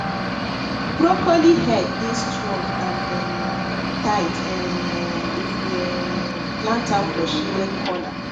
broccoli head dey strong and um tight um if we um plant am for shaded corner